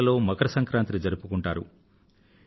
ఇదే నెలలో మకర సంక్రాంతి జరుపుకుంటారు